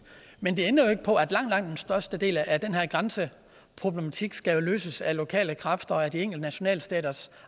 men det ændrer jo ikke på at langt langt den største del af den her grænseproblematik skal løses af lokale kræfter og af de enkelte nationalstaters